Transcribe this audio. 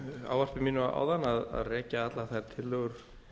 ávarpi mínu áðan að rekja allar þær tillögur